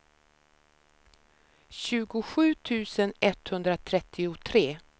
tjugosju tusen etthundratrettiotre